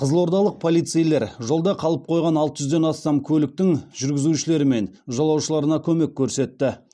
қызылордалық полицейлер жолда қалып қойған алты жүзден астам көліктің жүргізушілері мен жолаушыларына көмек көрсетті